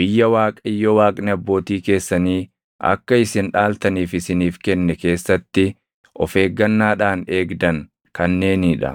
biyya Waaqayyo Waaqni abbootii keessanii akka isin dhaaltaniif isiniif kenne keessatti of eeggannaadhaan eegdan kanneenii dha.